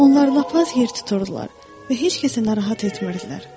Onlar lap az yer tuturdular və heç kəsi narahat etmirdilər.